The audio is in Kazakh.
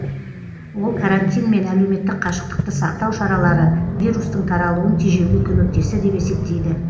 ол карантин мен әлеуметтік қашықтықты сақтау шаралары вирустың таралуын тежеуге көмектесті деп есептейді